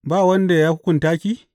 Ba wanda ya hukunta ki?